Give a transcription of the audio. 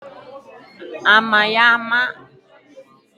Ama ya ama dịka onye na erube isi.